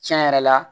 Tiɲɛ yɛrɛ la